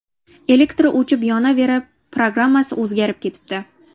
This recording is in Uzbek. Elektr o‘chib-yonaverib, programmasi o‘zgarib ketibdi.